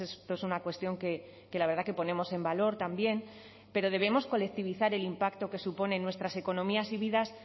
esto es una cuestión que la verdad que ponemos en valor también pero debemos colectivizar el impacto que supone en nuestras economías y vidas